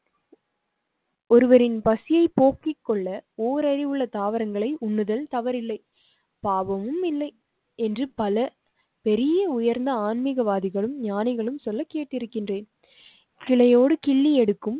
ஒருவரின் பசியை போக்கிக் கொள்ள ஓர் அறிவுள்ள தாவரங்களை உண்ணுதல் தவறில்லை. பாவமும் இல்லை என்று பல பெரிய உயர்ந்த ஆன்மீகவாதிகளும் ஞானிகளும் சொல்ல கேட்டு இருக்கின்றேன். கிளையோடு கிள்ளி எடுக்கும்